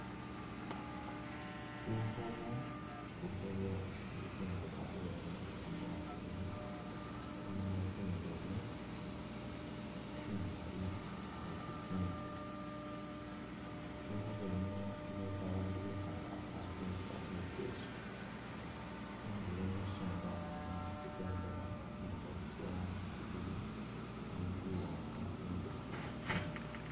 Lukhobo lukhobo isi bombekha bulayi mukari mwamiliya mulimo tsindebe tsi’mali ni tsitsindi lukhobo luno nio isi babandu bikhala batesa biteso ,khunduro musonda mulimo i’bendela ilikho tsirangi tsibili khuli iwanga ni imbesemu.